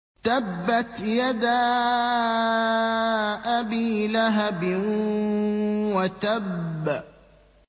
تَبَّتْ يَدَا أَبِي لَهَبٍ وَتَبَّ